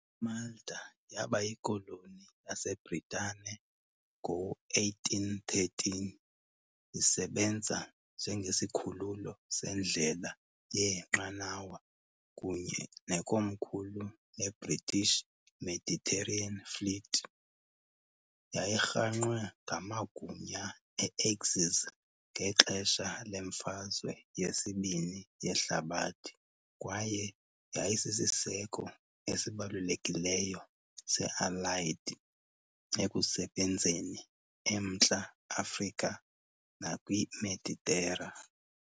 IMalta yaba yikoloni yaseBritane ngo-1813, isebenza njengesikhululo sendlela yeenqanawa kunye nekomkhulu leBritish Mediterranean Fleet. Yayirhangqwe ngamagunya e-Axis ngexesha leMfazwe yesibini yeHlabathi kwaye yayisisiseko esibalulekileyo se-Allied ekusebenzeni eMntla Afrika nakwiMeditera.